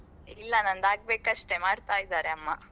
ಇಲ್ಲಾ ನಂದಾಗ್ಬೇಕಷ್ಟೆ ಮಾಡ್ತಾ ಇದ್ದಾರೆ ಅಮ್ಮ.